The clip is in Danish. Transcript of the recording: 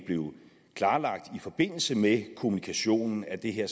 klarlagt i forbindelse med kommunikationen at det her